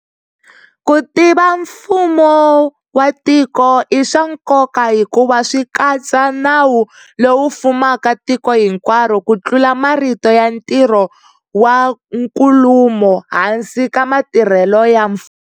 Ku tiva mfumo wa tiko i swa nkoka hikuva swi katsa nawu lowu fumaka tiko hinkwaro ku tlula marito ya ntirho wa nkulumo hansi ka matirhelo ya mfumo.